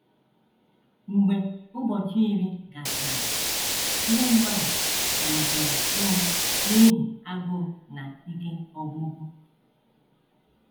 Mgbe ụbọchị iri gasịrị, ndị mmadụ malitere ịnwụ n’ihi agụụ na ike ọgwụgwụ.